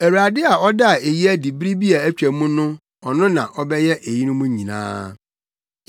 Awurade a ɔdaa eyi adi bere bi a atwa mu no, ɔno na ɔbɛyɛ eyinom nyinaa.”